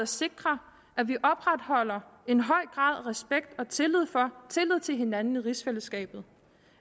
sikre at vi opretholder en høj grad af respekt og tillid til hinanden i rigsfællesskabet